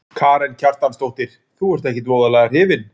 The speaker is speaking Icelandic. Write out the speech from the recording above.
Karen Kjartansdóttir: Þú ert ekkert voðalega hrifinn?